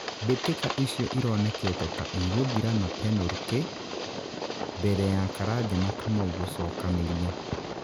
mbĩtika icio ironekete ta igũthira na penũrũtĩ mbere ya Karanja na Kamau gũcokanĩria.